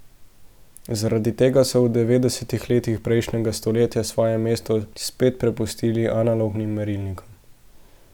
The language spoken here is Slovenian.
Zaradi tega so v devetdesetih letih prejšnjega stoletja svoje mesto spet prepustili analognim merilnikom.